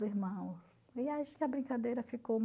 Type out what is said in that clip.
irmãos e acho que a brincadeira ficou